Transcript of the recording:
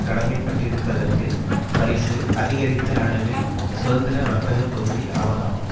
கடமைப்பட்டிருப்பதற்கு பரிசு அதிகரித்த அளவில் சுதந்திர வர்த்தக பகுதி ஆவதாகும்